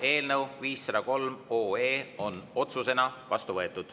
Eelnõu 503 on otsusena vastu võetud.